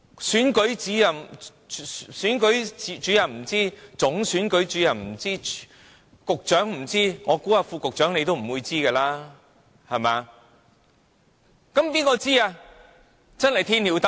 選舉主任不知道，總選舉主任也不知道，局長不知道，我猜副局長你也不會知道，對不對？